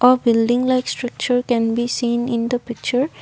a building like structure can be seen in the picture.